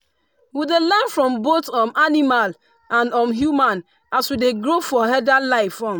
we dey learn from both um animal and um human as we dey grow for herder life. um